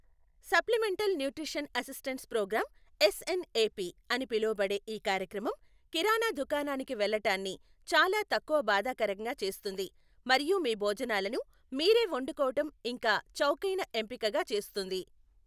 Supplemental nutrition assistance program, S N A P అని పిలువబడే ఈ కార్యక్రమం కిరాణా దుకాణానికి వెళ్ళటాన్ని చాలా తక్కువ బాధాకరంగా చేస్తుంది మరియు మీ భోజనాలను మీరే వండుకోవటం ఇంకా చౌకైన ఎంపికగా చేస్తుంది.